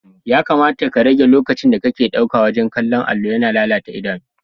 Ya kamata ka rage lokacinda kake ɗauka wajen kallon allo, yana lalata idanu.